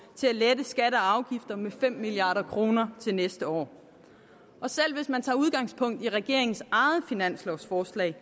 til at lette skatter og afgifter med fem milliard kroner til næste år og selv hvis man tager udgangspunkt i regeringens eget finanslovsforslag